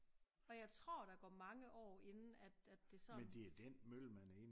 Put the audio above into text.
Og jeg tror der går mange år inden at at det sådan